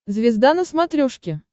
звезда на смотрешке